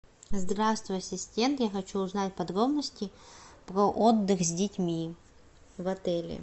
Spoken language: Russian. здравствуй ассистент я хочу узнать подробности про отдых с детьми в отеле